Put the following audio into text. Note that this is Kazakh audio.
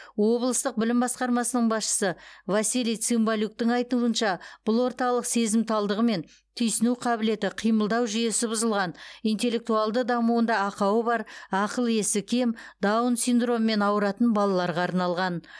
облыстық білім басқармасының басшысы василий цымбалюктың айтуынша бұл орталық сезімталдығы мен түйсіну қабілеті қимылдау жүйесі бұзылған интеллектуалды дамуында ақауы бар ақыл есі кем даун синдромымен ауыратын балаларға арналған